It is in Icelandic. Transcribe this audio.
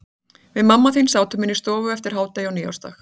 Við mamma þín sátum inni í stofu eftir hádegi á nýársdag.